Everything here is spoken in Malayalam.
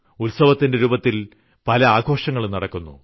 ഉത്സവത്തിന്റെ രൂപത്തിൽ പല ആഘോഷങ്ങളും നടക്കുന്നു